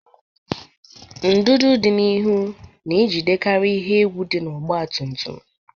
Ndụdụ dị n'ihu na-ejidekarị ihe egwu n'ọgba tum tum.